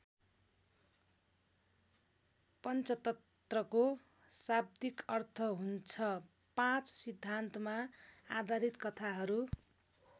पञ्चतन्त्रको शाव्दिक अर्थ हुन्छ पाँच सिद्धान्तमा आधारित कथा हरू।